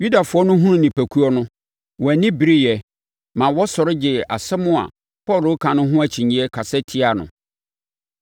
Yudafoɔ no hunuu nnipakuo no, wɔn ani bereeɛ, ma wɔsɔre gyee nsɛm a Paulo reka no ho akyinnyeɛ, kasa tiaa no.